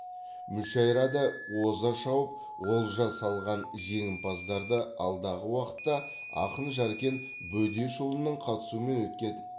мүшәйрада оза шауып олжа салған жеңімпаздарды алдағы уақытта ақын жәркен бөдешұлының қатысуымен өткен